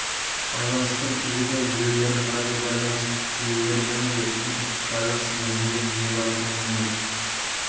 байланыстың телефон желілері радиобайланыс желілері және де спутниктік байланыс негізінде жүзеге асуы мүмкін